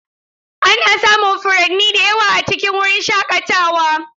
Ana samun furanni da yawa a cikin wurin shakatawa.